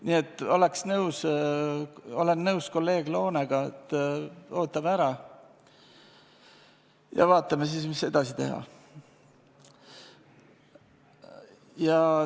Nii et olen nõus Loonega, et ootame ära ja vaatame siis, mis edasi teha.